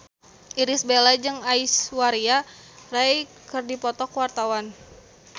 Irish Bella jeung Aishwarya Rai keur dipoto ku wartawan